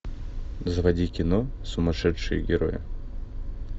заводи кино сумасшедшие герои